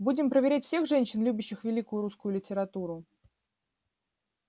будем проверять всех женщин любящих великую русскую литературу